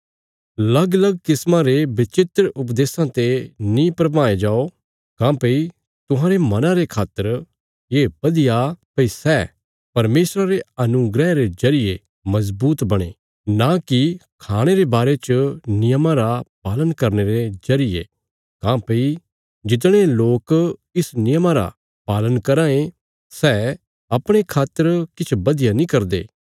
लगलग किस्मा रे विचित्र उपदेशां ते नीं भरमाये जाओ काँह्भई तुहांरे मना रे खातर ये बधिया भई सै परमेशरा रे अनुग्रह रे जरिये मजबूत बणे नां की खाणे रे बारे च नियमां रा पालन करने रे जरिये काँह्भई जितने लोक इस नियमा रा पालन कराँ ये सै अपणे खातर किछ बधिया नीं करदे